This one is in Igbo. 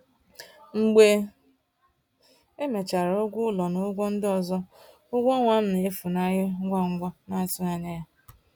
Mgbe emechara ụgwọ ụlọ na ụgwọ ndị ọzọ, ụgwọ ọnwa m na-efunahụ ngwa ngwa n’atụghị anya ya.